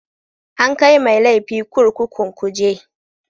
An kai mai laifi kurkukun kuje